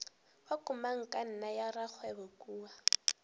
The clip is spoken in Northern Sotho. wa komangkanna ya rakgwebo kua